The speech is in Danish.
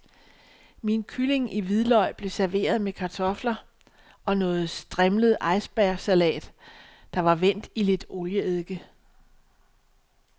Min kylling i hvidløg blev serveret med kartofler og noget strimlet icebergsalat, der var vendt i lidt olieeddike.